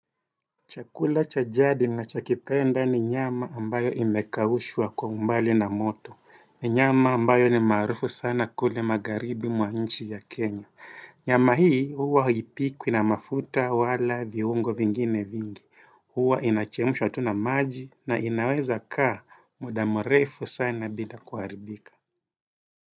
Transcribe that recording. Chakula cha jadi ninachokipenda ni nyama ambayo imekaushwa kwa umbali na moto ni nyama ambayo ni maarufu sana kule magaribi mwa nchi ya Kenya Nyama hii huwa haipikwi na mafuta wala viungo vingine vingi Huwa inachemshwa tu na maji na inaweza kaa muda mrefu sana bidha kuharibikia.